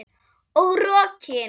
Og rokin.